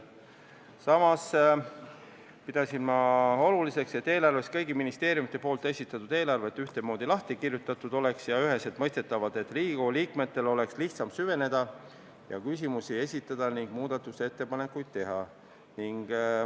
Samas pidasin oluliseks, et eelarves oleks kõigi ministeeriumide esitatud eelarved ühtemoodi lahti kirjutatud ja üheselt mõistetavad, nii et Riigikogu liikmetel oleks lihtsam süveneda, küsimusi esitada ja muudatusettepanekuid teha.